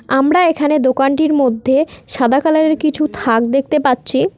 আমরা এখানে দোকানটির মধ্যে সাদা কালারের কিছু থাক দেখতে পাচ্ছি।